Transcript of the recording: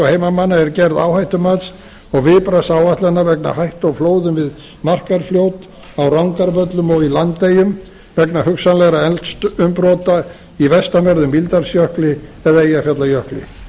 heimamanna er gerð áhættumats og viðbragðsáætlana vegna hættu á flóðum við markarfljót á rangárvöllum og í landeyjum vegna hugsanlegra eldsumbrota í vestanverðum mýrdalsjökli eða eyjafjallajökli